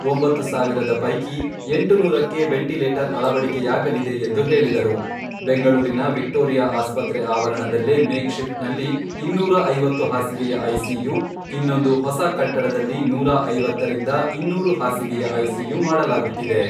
ಒಂಬತ್ತು ಸಾವಿರದ ಪೈಕಿ ಎಂಟುನೂರಕ್ಕೆ ವೆಂಟಿಲೇಟರ್ ಅಳವಡಿಕೆಯಾಗಲಿದೆ ಎಂದು ಹೇಳಿದರು.ಬೆಂಗಳೂರಿನ ವಿಕ್ಟೋರಿಯಾ ಆಸ್ಪತ್ರೆ ಆವರಣದಲ್ಲೇ ಮೇಕ್ ಶಿಫ್ಟ್ ನಲ್ಲಿ ಇನ್ನೂರು ಐವತ್ತು ಹಾಸಿಗೆಯ ಐಸಿಯು, ಇನ್ನೊಂದು ಹೊಸ ಕಟ್ಟಡದಲ್ಲಿ ನೂರ ಐವತ್ತರಿಂದ ಇನ್ನೂರು ಹಾಸಿಗೆಯ ಐಸಿಯು ಮಾಡಲಾಗುತ್ತಿದೆ.